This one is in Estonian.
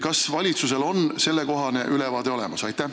Kas valitsusel on sellekohane ülevaade olemas?